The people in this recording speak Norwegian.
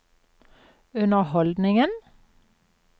underholdningen